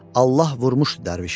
Allah vurmuşdu dərvişi.